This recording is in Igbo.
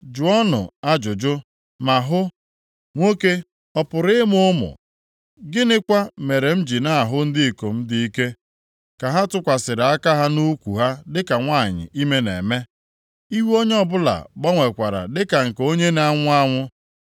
Jụọnụ ajụjụ, ma hụ, nwoke ọ pụrụ ịmụ ụmụ? Gịnịkwa mere m ji na-ahụ ndị ikom dị ike ka ha tụkwasịrị aka ha nʼukwu ha dịka nwanyị ime na-eme, ihu onye ọbụla gbanwekwara dịka nke onye na-anwụ anwụ?